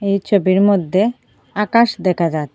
এই ছবির মধ্যে আকাশ দেখা যায়।